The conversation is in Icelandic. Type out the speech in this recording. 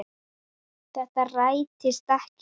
Þetta rættist ekki.